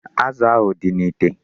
Azụ ahụ dị n'ite.